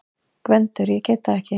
GVENDUR: Ég gat það ekki!